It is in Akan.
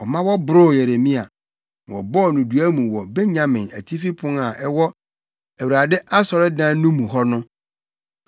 ɔma wɔboroo Yeremia, na wɔbɔɔ no dua mu wɔ Benyamin Atifi Pon a ɛwɔ Awurade asɔredan no mu hɔ no.